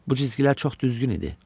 Bu cizgilər çox düzgün idi.